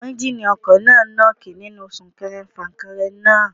Ẹ́njíníì ọkọ̀ náà nọ́ọ́kì nínú sún kẹrẹ fà kẹrẹ náà.